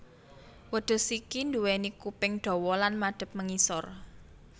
Wedhus iki nduwéni kuping dawa lan madhep mengisor